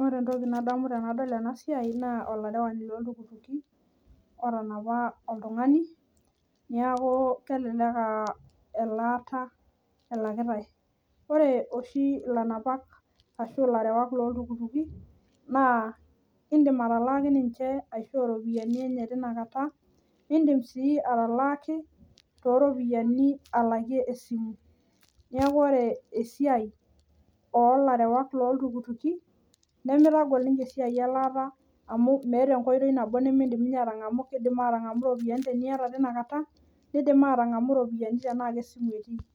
Ore entoki nadamu tenadol ena siai naa olarewani loo iltukutuki otanapa oltung'ani naa kelelek aa elata elakitai ore oshi elanapak ashu elarewak loo iltukutuki naa edim atalaki ninche teina kata nidim sii atalaki too ropiani alakie esimu neeku ore esiai oo larewak loo iltukutuki nimitagol ninche elataa amu meeta enkoitoi nimidim ninche atangamu ore tinakata kidim atangamu eropiani tenaa esimu etii